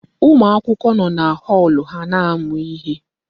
Ụmụ akwụkwọ nọ na họọlụ ha na-amụ ihe.